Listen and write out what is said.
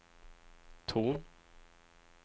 ton